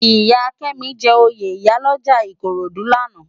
Iyá Kemi jè óyé iyá òlòjá Ikorodu làná